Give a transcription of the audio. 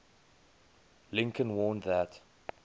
lincoln warned that